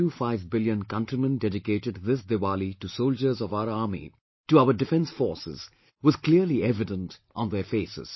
25 billion countrymen dedicated this Diwali to soldiers of our army, to our defence forces, was clearly evident on their faces